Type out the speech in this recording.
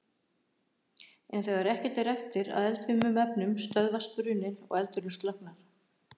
En þegar ekkert er eftir af eldfimum efnum stöðvast bruninn og eldurinn slokknar.